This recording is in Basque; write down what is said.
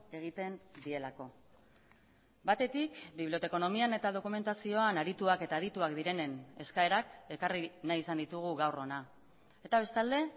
egiten dielako batetik bibliotekonomian eta dokumentazioan arituak eta adituak direnen eskaerak ekarri nahi izan ditugu gaur ona eta bestalde